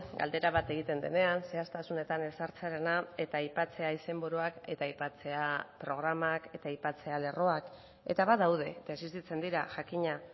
galdera bat egiten denean zehaztasunetan ez sartzearena eta aipatzea izenburuak eta aipatzea programak eta aipatzea lerroak eta badaude eta existitzen dira jakina